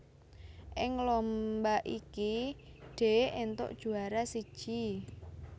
Ing lomba iki Dee éntuk juwara siji